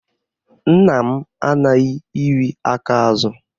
Nna m anaghị iri aka azụ